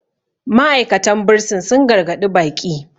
ma'aikatan bursin sun gargaɗi baƙi